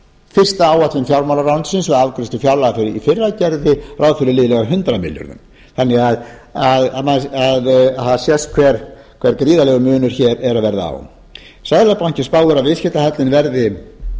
fyrsta áætlun fjármálaráðuneytisins við afgreiðslu fjárlaga í fyrra gerði ráð fyrir liðlega hundrað milljónir þannig að það sést hve gríðarlegur munur er að verða á seðlabankinn spáir að viðskiptahallinn